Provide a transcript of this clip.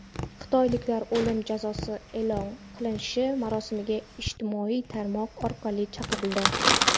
Xitoyliklar o‘lim jazosi e’lon qilinishi marosimiga ijtimoiy tarmoq orqali chaqirildi.